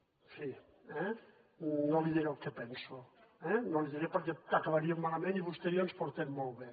en fi eh no li diré el que penso eh no li diré perquè acabaríem malament i vostè i jo ens portem molt bé